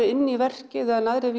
inn í verkin en aðrar